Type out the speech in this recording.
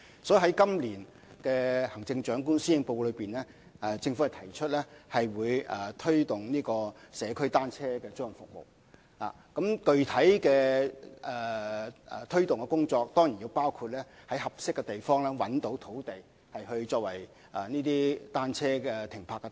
所以，在今年的行政長官施政報告中，政府提出會推動社區單車租賃服務，而具體的推動工作當然包括在合適地方找尋土地，作為出租單車的停泊之處。